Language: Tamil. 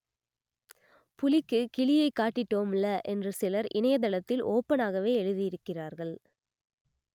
புலிக்கு கிலியை காட்டிட்டோம்ல என்று சிலர் இணையதளத்தில் ஓபனாகவே எழுதியிருக்கிறார்கள்